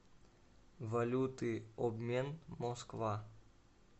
валюты обмен москва